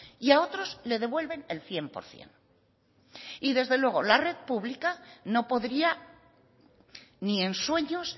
y a otros le devuelven el cien por ciento desde luego la red pública no podría ni en sueños